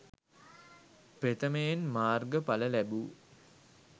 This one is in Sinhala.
ප්‍රථමයෙන් මාර්ග ඵල ලැබූ